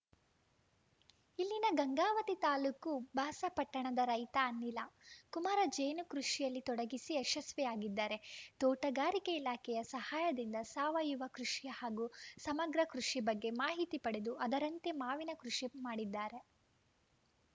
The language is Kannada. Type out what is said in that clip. ಇಲ್ಲಿನ ಗಂಗಾವತಿ ತಾಲೂಕು ಬಸಾಪಟ್ಟಣದ ರೈತ ಅನಿಲ ಕುಮಾರ ಜೇನು ಕೃಷಿಯಲ್ಲಿ ತೊಡಗಿಸಿ ಯಶಸ್ವಿಯಾಗಿದ್ದಾರೆ ತೋಟಗಾರಿಕೆ ಇಲಾಖೆಯ ಸಹಾಯದಿಂದ ಸಾವಯವ ಕೃಷಿ ಹಾಗೂ ಸಮಗ್ರ ಕೃಷಿ ಬಗ್ಗೆ ಮಾಹಿತಿ ಪಡೆದು ಅದರಂತೆ ಮಾವಿನ ಕೃಷಿ ಮಾಡಿದ್ದಾರೆ